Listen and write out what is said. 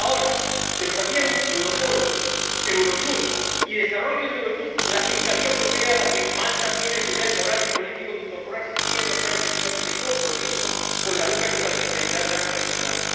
Por tanto, la OLAF, pero también Europol, Eurojust y, desarrollo de Eurojust, la Fiscalía Europea, a la que Malta tiene el deber moral y político de incorporarse si quiere mostrar efectivamente compromiso con la lucha contra la criminalidad grave transnacional.